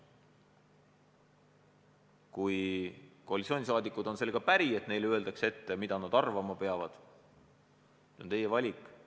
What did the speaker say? Kui koalitsioonisaadikud on sellega päri, et neile öeldakse ette, mida nad arvama peavad, siis see on nende valik.